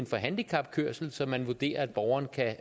for handicapkørsel som man vurderer at borgeren kan